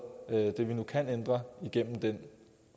det vi nu kan ændre igennem den